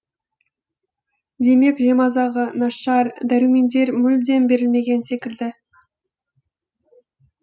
демек жемазығы нашар дәрумендер мүлдем берілмеген секілді